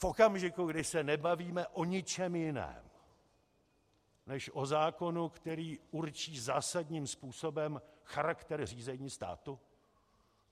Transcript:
V okamžiku, kdy se nebavíme o ničem jiném než o zákonu, který určí zásadním způsobem charakter řízení státu?